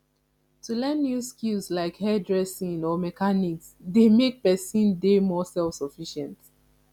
to learn new skills like hairdressing or mechanics dey make pesin dey more selfsufficient